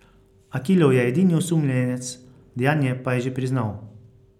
Akilov je edini osumljenec, dejanje pa je že priznal.